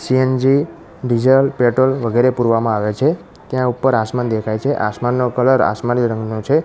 CNG diesel petrol વગેરે પૂરવામાં આવે છે ત્યાં ઉપર આસમાન દેખાય છે આસમાનનો કલર આસમાની રંગનો છે.